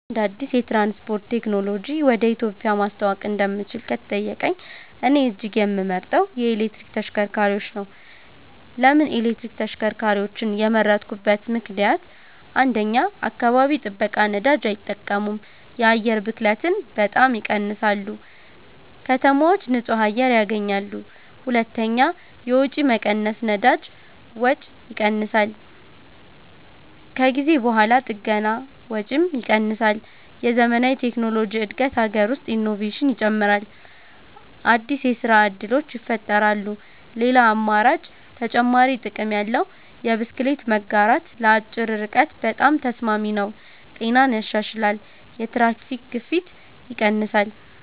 አንድ አዲስ የትራንስፖርት ቴክኖሎጂ ወደ ኢትዮጵያ ማስተዋወቅ እንደምችል ከተጠየቀኝ፣ እኔ እጅግ የምመርጠው የኤሌክትሪክ ተሽከርካሪዎች ነው። ለምን ኤሌክትሪክ ተሽከርካሪዎችን የመረጥኩበት ምክንደያት? 1. አካባቢ ጥበቃ ነዳጅ አይጠቀሙም የአየር ብክለትን በጣም ይቀንሳሉ ከተማዎች ንጹህ አየር ያገኛሉ 2. የወጪ መቀነስ ነዳጅ ወጪ ይቀንሳል ከጊዜ በኋላ ጥገና ወጪም ይቀንሳል የዘመናዊ ቴክኖሎጂ እድገት አገር ውስጥ ኢኖቬሽን ይጨምራል አዲስ የስራ እድሎች ይፈጠራሉ ሌላ አማራጭ (ተጨማሪ ጥቅም ያለው) የብስክሌት መጋራት ለአጭር ርቀት በጣም ተስማሚ ነው ጤናን ያሻሽላል የትራፊክ ግፊት ይቀንሳል